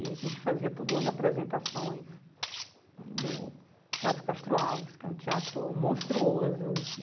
E a gente fazia todo ano apresentações no Teatro Castro Alves, que é um teatro monstruoso.